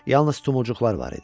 Yalnız tumurcuqlar var idi.